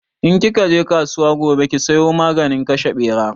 In ki ka je kasuwa gobe ki sayo maganin kashe Ɓera